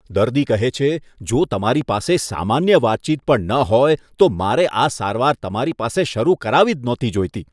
દર્દી કહે છે, જો તમારી પાસે સામાન્ય વાતચીત પણ ન હોય તો, મારે આ સારવાર તમારી પાસે શરુ કરાવવી જ નહોતી જોઈતી.